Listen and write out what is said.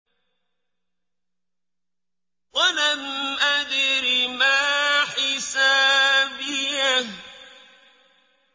وَلَمْ أَدْرِ مَا حِسَابِيَهْ